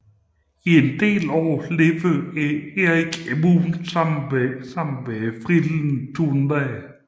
I en del år levede Erik Emune sammen med frillen Thunna